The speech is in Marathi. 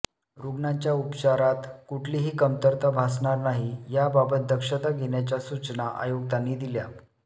रुग्णांच्या उपचारात कुठलीही कमतरता भासणार नाही याबाबत दक्षता घेण्याच्या सूचना आयुक्तांनी दिल्या